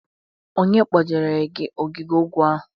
Onye kpojere gị ogige egwu ahụ?